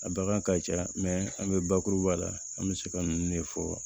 A bagan ka ca an bɛ bakuruba la an bɛ se ka ninnu de fɔ